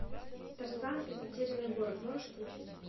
тарзан и затерянный город можешь включить